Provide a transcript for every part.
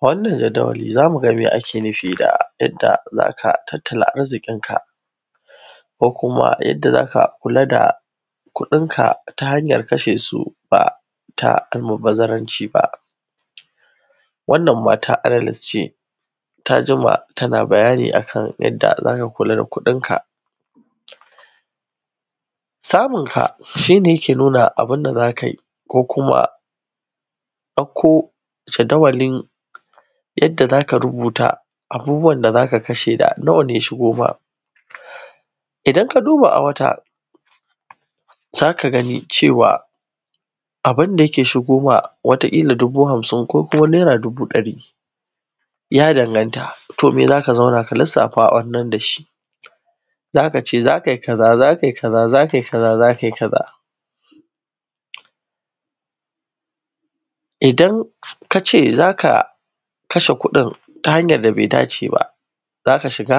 wannan jadawali zamu ga mai ake nufi da yadda zaka tattala arzikin ka ko kuma yadda zaka kula da kuɗin ka ta hanyar kashe su ba ta almubazzaranci ba wannan mata agnes ce ta jima tana bayani akan yadda zaka kula da kuɗin ka samun ka shine yake nuna abunda zaka yi ko kuma ɗauko jadawalin yadda zaka rubuta abubuwan da zaka kashe da nawa ne ya shigo maka idan ka duba a wata zaka gani cewa abunda yake shigo ma watakila dubu hamsin ko kuma naira dubu ɗari ya danganta to me zaka zauna ka lissafa a wannan dashi zaka ce zakai kaza zakai kaza zakai kaza zakai kaza idan kace zaka kashe kuɗin ta hanyar da bai dace ba zaka shiga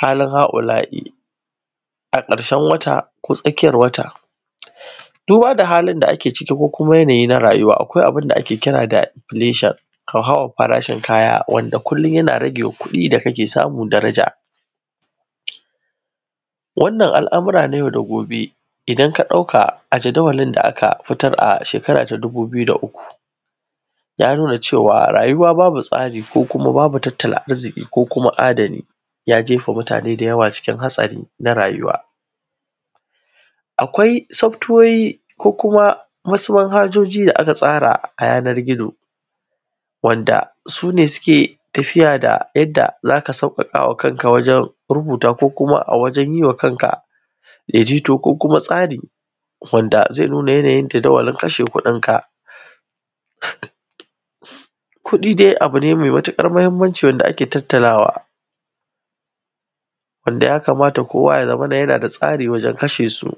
halin ha’ula’i a ƙarshen wata ko tsakiyar wata duba da halin da ake ciki ko kuma yanayi na rayuwa akwai abunda ake kira da inflation hauhawan farashin kaya wanda kullum yana rage ma kuɗin da kake samu daraja wannan al’amura na yau da gobe idan ka ɗauka a jadawalin da aka fitar a shekara ta dubu biyu da uku ya nuna cewa rayuwa babu tsari kuma babu tattala arziki ko kuma adani ya jefa mutane da yawa cikin hatsari na rayuwa akwai softwares ko kuma wasu manhajoji da aka tsara a yanar gizo wanda sune suke tafiya da yadda zaka sauƙaƙama kanka wajen rubuta ko kuma a wajen yiwa kanka daidaito ko tsari wanda zai nuna yanayin jadawalin kasha kudin ka kuɗi dai abu ne mai matuƙar muhimmanci wanda ake tattalawa wanda ya kamata kowa ya zamana yana da tsari wajen kashe su